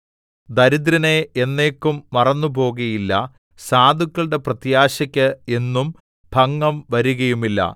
ദരിദ്രനെ എന്നേക്കും മറന്നു പോകുകയില്ല സാധുക്കളുടെ പ്രത്യാശക്ക് എന്നും ഭംഗം വരുകയുമില്ല